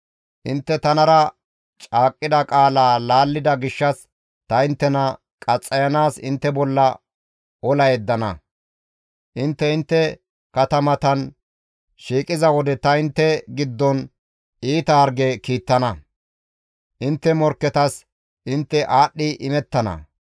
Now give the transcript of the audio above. Intte tanara caaqqida qaalaa laallida gishshas ta inttena qaxxayanaas intte bolla ola yeddana; intte intte katamatan shiiqiza wode ta intte giddon iita harge kiittana; intte morkketas intte aadhdhi imettana.